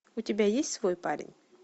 у тебя есть свой парень